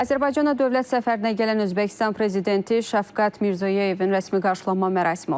Azərbaycana dövlət səfərinə gələn Özbəkistan prezidenti Şəfqət Mirzoyevin rəsmi qarşılanma mərasimi olub.